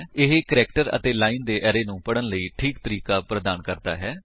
ਇਹ ਕੈਰੇਕਟਰ ਅਤੇ ਲਾਇਨ ਦੇ ਐਰੇ ਨੂੰ ਪੜਨ ਲਈ ਠੀਕ ਤਰੀਕਾ ਪ੍ਰਦਾਨ ਕਰਦਾ ਹੈ